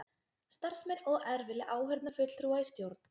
Starfsmenn OR vilja áheyrnarfulltrúa í stjórn